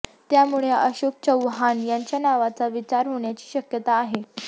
त्यामुळे अशोक चव्हाण यांच्या नावाचा विचार होण्याची शक्यता आहे